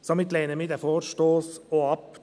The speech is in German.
Somit lehnen wir den Vorstoss auch ab.